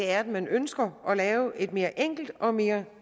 er at man ønsker at lave et mere enkelt og mere